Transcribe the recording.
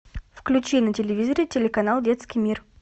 включи на телевизоре телеканал детский мир